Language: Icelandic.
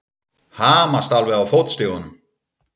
Hamast alveg á fótstigunum!